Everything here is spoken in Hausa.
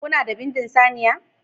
Kuna da bindin saniya